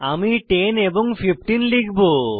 আমি 10 এবং 15 লিখব